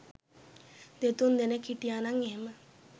දෙතුන් දෙනෙක් හිටියනං එහෙම